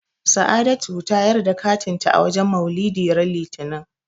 Sa'adatu ta yar da katin ta a wajen Maulidi ran Litinin.